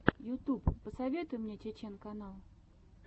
ютьюб посоветуй мне чечен канал